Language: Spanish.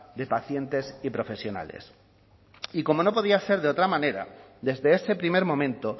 de pacientes y profesionales y como no podía ser de otra manera desde ese primer momento